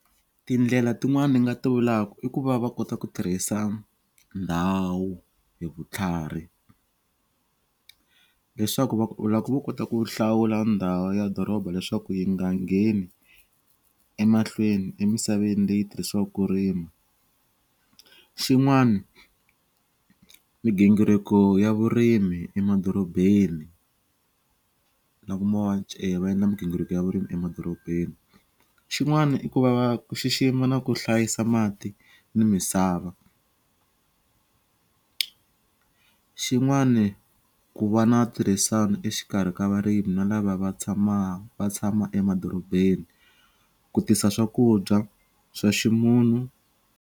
Tindlela tin'wani ni nga ti vulaku i ku va va kota ku tirhisa ndhawu hi vutlhari leswaku va ku loko vo kota ku hlawula ndhawu ya doroba leswaku yi nga ngheni emahlweni emisaveni leyi tirhisiwaku rima xin'wani migingiriko ya vurimi emadorobeni na ku na migingiriko ya vurimi emadorobeni xin'wani i ku va va ku xixima na ku hlayisa mati ni misava xin'wani ku va na tirhisani exikarhi ka varimi na lava va tshama va tshama emadorobeni ku tisa swakudya swa ximunhu.